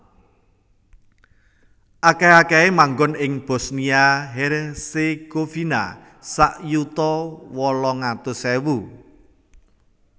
Akèh akèhé manggon ing Bosnia Herzegovina sak yuta wolung atus ewu